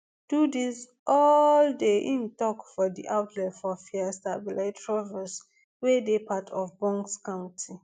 do dis all day im tok for di outlet for feastervilletrevose wey dey part of bucks county